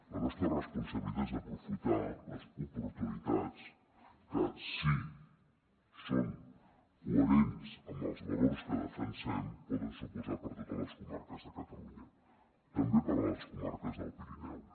la nostra responsabilitat és aprofitar les oportunitats que si són coherents amb els valors que defensem poden suposar per a totes les comarques de catalunya també per a les comarques del pirineu